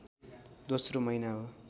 दोस्रो महिना हो